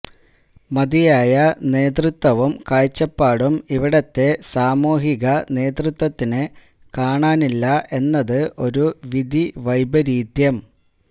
മതിയായ നേതൃത്വവും കാഴ്ചപ്പാടും ഇവിടുത്തെ സാമൂഹിക നേതൃത്വത്തിന് കാണാനില്ല എന്നത് ഒരു വിധിവൈപരീത്യം